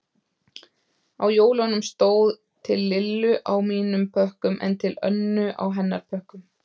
Á jólunum stóð Til Lillu á mínum pökkum en Til Önnu á hennar pökkum.